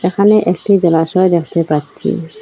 এখানে একটি জলাশয় দেখতে পাচ্ছি।